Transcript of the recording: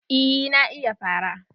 Eh na iya fara